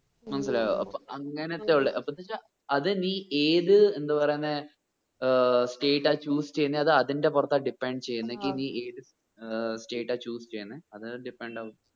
മനസ്സിലായോ? ആഹ് അപ്പോ അങ്ങനത്തെ ഉള്ളേ അപ്പോ അത് എന്ത് വെച്ച അത് നീ ഏത് എന്ത് പറയുന്നേ ഏർ state ആ choose ചെയ്യുന്നേ അത് അതിന്റെ പൊറത്താ depend ചെയ്യുന്നെങ്കി നീഏത് ഏർ state ആ choose ചെയ്യുന്നേ അത് depend ആകും